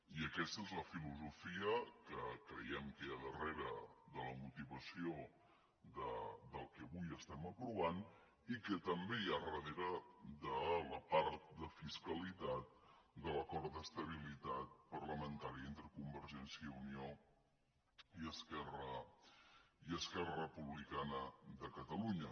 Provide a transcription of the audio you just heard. i aquesta és la filosofia que creiem que hi ha darrere de la motivació del que avui aprovem i que també hi ha darrere de la part de fiscalitat de l’acord d’estabilitat parlamentària entre convergència i unió i esquerra republicana de catalunya